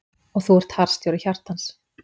Og þú ert harðstjóri hjartans.